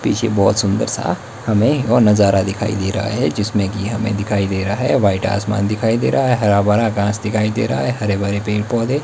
पीछे बहुत सुंदर सा हमें और नजारा दिखाई दे रहा है जिसमें कि हमें दिखाई दे रहा है व्हाइट आसमान दिखाई दे रहा है हरा भरा घास दिखाई दे रहा है हरे भरे पेड़ पौधे--